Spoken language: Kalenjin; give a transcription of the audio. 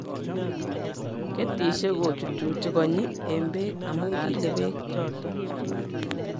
Ketisiek kochuchuchi konyi eng bek amu Kyle bek choto.